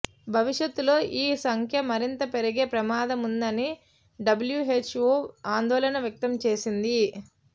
భవిష్యత్తులో ఈ సంఖ్య మరింత పెరిగే ప్రమాదముందని డబ్ల్యూహెచ్ఓ ఆందోళన వ్యక్తం చేసింది